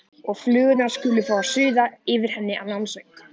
Og flugurnar skulu fá að suða yfir henni annan söng.